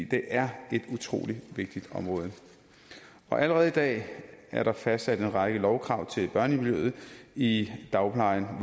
det er et utrolig vigtigt område allerede i dag er der fastsat en række lovkrav til børnemiljøet i dagplejen